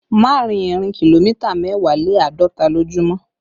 Má rìn ìrìn kìlómítà mẹ́wàá lé àádọ́ta lójúmọ́